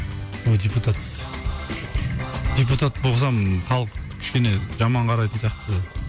ой депутат депутат болсам халық кішкене жаман қарайтын сияқты